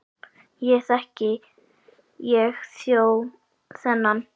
Ekki þekki ég þjó þennan.